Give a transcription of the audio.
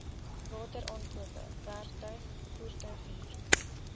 wateraankope werktuig voertuighuur